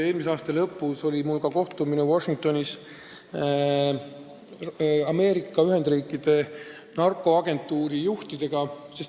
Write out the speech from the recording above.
Eelmise aasta lõpus oli mul kohtumine Washingtonis Ameerika Ühendriikide narkoagentuuri juhtidega.